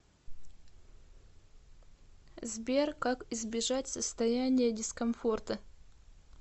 сбер как избежать состояния дискомфорта